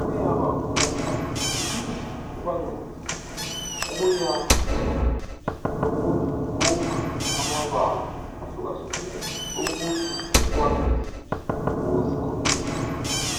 kuyaba vula ingqondo. Kuphinde kubancedise ukuyakha lokumumba amabala ahlukehlukeneyo. Ukuthi bekwanise ukuzikhulumela.